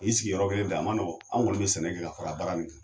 Ɔ i sigi yɔrɔ kelen ten a man nɔgɔ an kɔni bɛ sɛnɛ kɛ ka fara baara nin kan